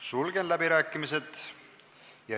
Sulgen läbirääkimised.